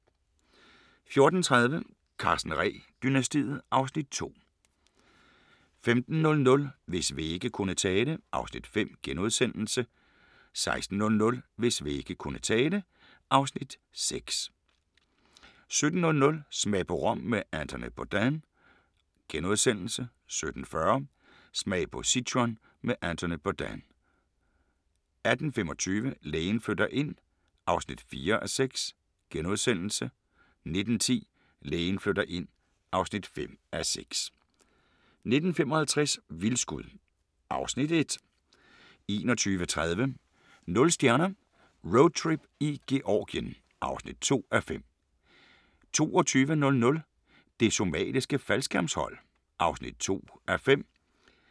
14:30: Karsten Ree-dynastiet (Afs. 2) 15:00: Hvis vægge kunne tale (Afs. 5)* 16:00: Hvis vægge kunne tale (Afs. 6) 17:00: Smag på Rom med Anthony Bourdain * 17:40: Smag på Sichuan med Anthony Bourdain 18:25: Lægen flytter ind (4:6)* 19:10: Lægen flytter ind (5:6) 19:55: Vildskud (Afs. 1) 21:30: Nul stjerner - Roadtrip i Georgien (2:5) 22:00: Det Somaliske Faldskærmshold (2:5)